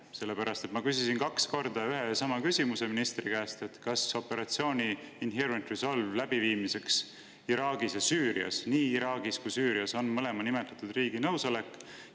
Sellepärast et ma küsisin kaks korda ühe ja sama küsimuse ministri käest: kas operatsiooni Inherent Resolve läbiviimiseks Iraagis ja Süürias – nii Iraagis kui Süürias – on mõlema riigi nõusolek?